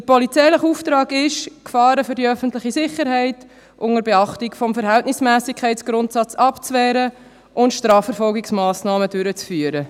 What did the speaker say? Der polizeiliche Auftrag lautet, Gefahren für die öffentliche Sicherheit unter Beachtung des Verhältnismässigkeitsgrundsatzes abzuwehren und Strafverfolgungsmassnahmen durchzuführen.